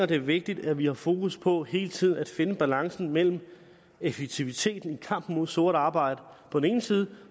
det er vigtigt at vi har fokus på hele tiden at finde balancen mellem effektiviteten i kampen mod sort arbejde på den ene side